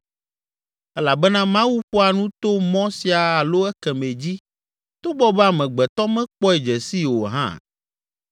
Elabena Mawu ƒoa nu to mɔ sia alo ekemɛ dzi togbɔ be amegbetɔ mekpɔe dze sii o hã.